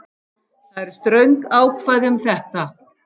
Það eru ströng ákvæði um þetta